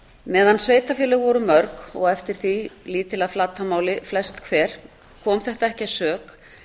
meðan sveitarfélög voru mörg og eftir því lítil að flatarmáli flest hver kom þetta ekki að sök